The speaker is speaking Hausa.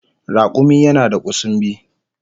Rakumi yana da kusumbi